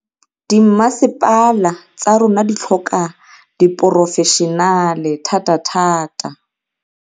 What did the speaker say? Dimmasepala tsa rona di tlhoka diporofešenale thatathata.